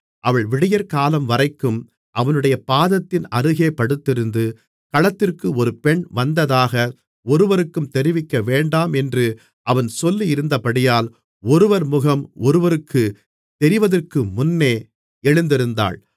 அவள் விடியற்காலம்வரைக்கும் அவனுடைய பாதத்தின் அருகே படுத்திருந்து களத்திற்கு ஒரு பெண் வந்ததாக ஒருவருக்கும் தெரிவிக்கவேண்டாம் என்று அவன் சொல்லியிருந்தபடியால் ஒருவர் முகம் ஒருவருக்குத் தெரிவதற்கு முன்னே எழுந்திருந்தாள்